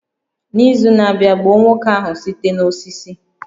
N'izu na-abịa, gbuo nwoke ahụ site n'osisi